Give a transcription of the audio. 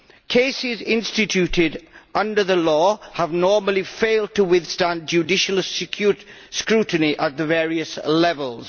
Cases instituted under the law have normally failed to withstand judicial scrutiny at the various levels.